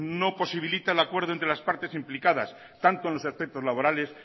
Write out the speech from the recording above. no posibilita el acuerdo entre las partes implicadas tanto en los aspectos laborales